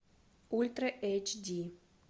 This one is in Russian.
ультра эйч ди